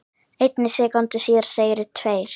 einni sekúndu síðar segðu tveir